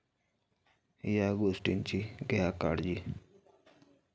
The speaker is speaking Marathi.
या' गोष्टींची घ्या काळजी